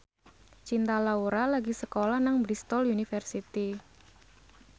Cinta Laura lagi sekolah nang Bristol university